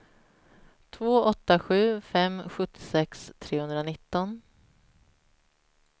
två åtta sju fem sjuttiosex trehundranitton